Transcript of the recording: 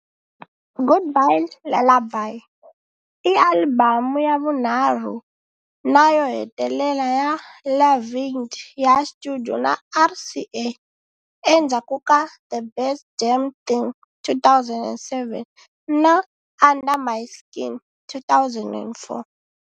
Goodbye Lullaby i alibamu ya vunharhu na yo hetelela ya Lavigne ya studio na RCA endzhaku ka The Best Damn Thing, 2007, na Under My Skin, 2004.